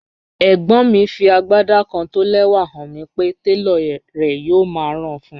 Ẹ̀gbọ́n mi fí agbádá kán tó ó lẹ́wà hàn mi pé tẹlọ̀ rè̩ yòò má rá a fún ọun.